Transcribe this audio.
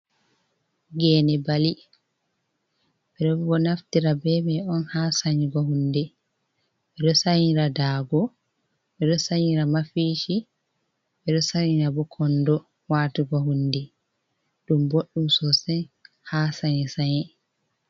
Gene bali bedo naftira be mai on ha sanyigo hunde bedo sanira dago bedo sanira mafishi bedo sanira bo kondo watugo hunde dum boddu sosai ha sani saye